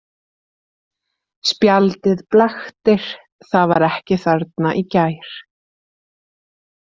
Spjaldið blaktir, það var ekki þarna í gær.